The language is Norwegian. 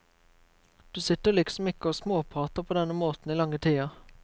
Du sitter liksom ikke og småprater på denne måten i lange tider.